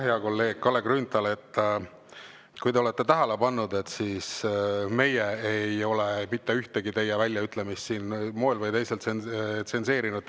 Hea kolleeg Kalle Grünthal, kui te olete tähele pannud, siis meie ei ole mitte ühtegi teie väljaütlemist siin moel või teisel tsenseerinud.